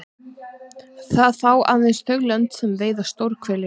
Það fá aðeins þau lönd sem veiða stórhveli nú.